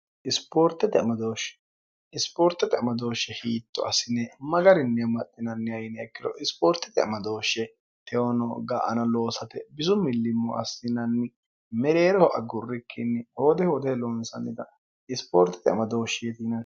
isipoorte teamadooshshe hiitto asine magarinni maxxinanni ayini ekkiro isipoorte teemadooshshe teyono ga ano loosate bizu millimmo assinanni mereereho agurrikkinni hoode hoode loonsannita isipoorte temadooshshi yetiin